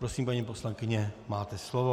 Prosím, paní poslankyně, máte slovo.